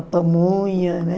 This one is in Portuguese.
pamonha, né?